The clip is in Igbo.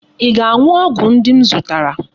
Ị ga-aṅụ ọgwụ ndị m zụtara.